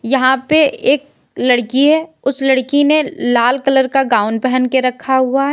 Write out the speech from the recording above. यहां पे एक लड़की है उस लड़की ने लाल कलर का गाउन पहन के रखा हुआ है।